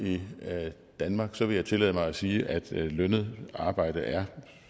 danmark vil jeg tillade mig at sige at lønnet arbejde